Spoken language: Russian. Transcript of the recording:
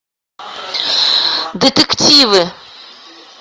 детективы